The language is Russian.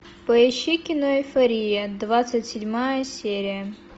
поищи кино эйфория двадцать седьмая серия